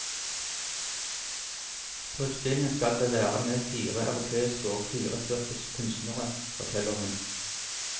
På utstillingen skal det være med fire europeiske og fire tyrkiske kunstnere, forteller hun.